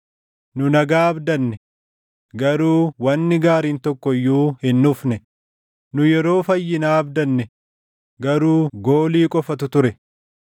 Nu nagaa abdanne; garuu wanni gaariin tokko iyyuu hin dhufne; nu yeroo fayyinaa abdanne; garuu goolii qofatu ture.